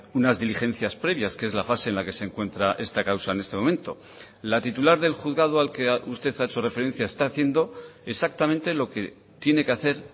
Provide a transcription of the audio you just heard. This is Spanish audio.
unas diligencias previas que es la fase en la que se encuentra esta causa en este momento la titular del juzgado al que usted ha hecho referencia está haciendo exactamente lo que tiene que hacer